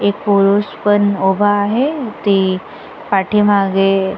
एक पुरुष पण उभा आहे ती पाठी मागे--